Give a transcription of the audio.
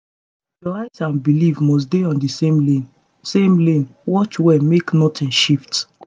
your eyes and belief must dey on the same lane same lane watch well make nothing shift